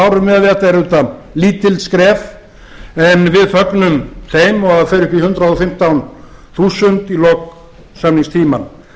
árum eru auðvitað lítil skref en við fögnum þeim og þau fara upp í hundrað og fimmtán þúsund í lok samningstímans